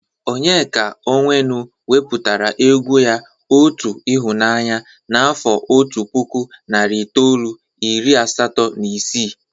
Onyeka Onwenu wepụtara egwu ya 'otu ịhụnaanya' n'afọ otu puku narị itoolu, iiri asató na isii.